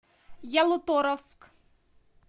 ялуторовск